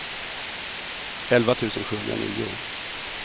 elva tusen sjuhundranio